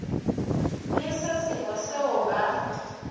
le se sengwe seo ba